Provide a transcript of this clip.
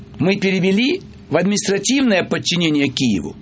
мы перевели в административное подчинение киеву